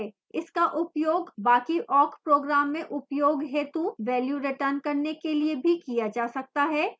इसका उपयोग बाकी awk program में उपयोग हेतु value return करने के लिए भी किया जा सकता है